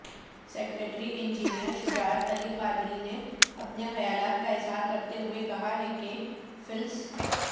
secretary engineer Shujaat Ali قادرینے اپنے خیالات کا اظہار کرتے ہوئے کہا کہ فلس